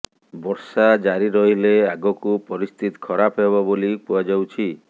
ବର୍ଷା ଜାରି ରହିଲେ ଆଗକୁ ପରିସ୍ଥିତି ଖରାପ ହେବ ବୋଲି କୁହାଯାଉଛି